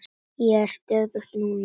Ég er stöðug núna.